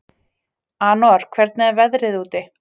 Anor, hvernig er veðrið úti?